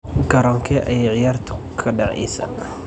Garoonkee ayay ciyaartu ka dhacaysaa?